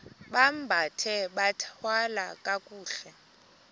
bambathe bathwale kakuhle